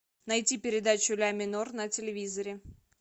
найти передачу ля минор на телевизоре